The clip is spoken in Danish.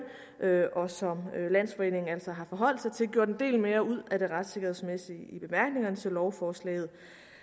og som landsforeningen altså har forholdt sig til gjort en del mere ud af det retssikkerhedsmæssige i bemærkningerne til lovforslaget